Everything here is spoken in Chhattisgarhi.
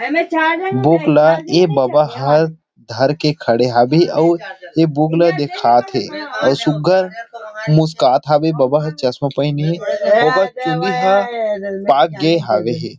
बुक ल ए बबा हर धर के खड़े हवे अउ बुक ल दिखात थे सुग्घर मुस्कात थे बबा चश्मा पहनी हवे ओकर चुंदी हा पाग गे हवे हे।